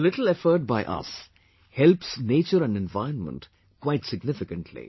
A little effort by us helps nature and environment quite significantly